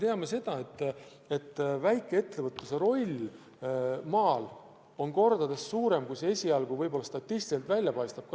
Ja me ju teame, et väikeettevõtluse roll maal on kordades suurem, kui see võib-olla statistiliselt välja paistab.